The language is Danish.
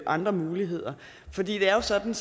andre muligheder for det er jo sådan